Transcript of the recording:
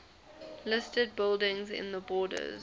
listed buildings in the borders